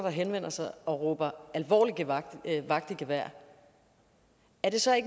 henvender sig og råber alvorligt vagt i gevær er det så